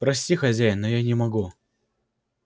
прости хозяин но я не могу